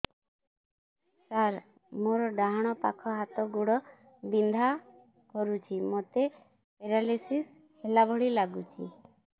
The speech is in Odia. ସାର ମୋର ଡାହାଣ ପାଖ ହାତ ଗୋଡ଼ ବିନ୍ଧା କରୁଛି ମୋତେ ପେରାଲିଶିଶ ହେଲା ଭଳି ଲାଗୁଛି